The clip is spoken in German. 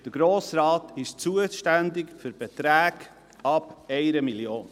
Der Grosse Rat ist zuständig für Beträge ab 1 Mio. Franken.